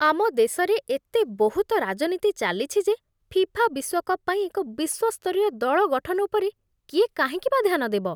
ଆମ ଦେଶରେ ଏତେ ବହୁତ ରାଜନୀତି ଚାଲିଛି ଯେ ଫିଫା ବିଶ୍ୱକପ୍ ପାଇଁ ଏକ ବିଶ୍ୱସ୍ତରୀୟ ଦଳ ଗଠନ ଉପରେ କିଏ କାହିଁକି ବା ଧ୍ୟାନ ଦେବ।